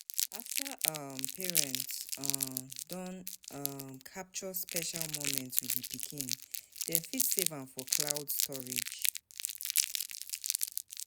After um parents um don um capture special moment with di pikin, dem fit save am for cloud storage